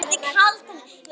Það var magnað.